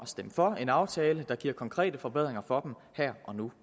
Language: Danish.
stemme for en aftale der giver konkrete forbedringer for dem her og nu